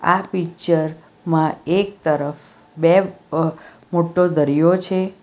આ પિક્ચર માં એક તરફ બે અહ મોટો દરિયો છે.